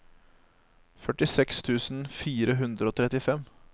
førtiseks tusen fire hundre og trettifem